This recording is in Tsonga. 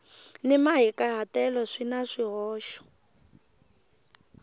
ni mahikahatelo swi na swihoxo